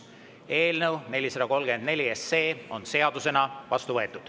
Eelnõu 434 on seadusena vastu võetud.